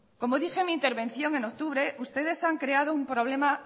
como dije en mi intervención en octubre ustedes han creado un problema